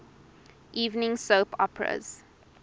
evening soap operas